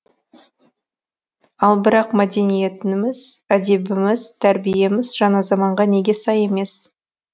ал бірақ мәдениетіміз әдебіміз тәрбиеміз жаңа заманға неге сай емес